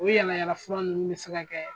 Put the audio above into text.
O yalayala fura nunnu be sɛ ka kɛ